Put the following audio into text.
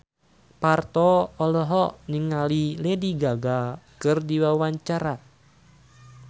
Parto olohok ningali Lady Gaga keur diwawancara